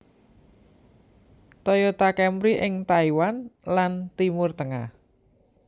Toyota Camry ing Taiwan lan Timur Tengah